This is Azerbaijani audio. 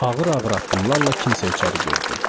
Ağır-ağır addımlarla kimsə içəri girdi.